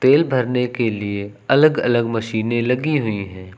तेल भरने के लिए अलग अलग मशीनें लगी हुई हैं।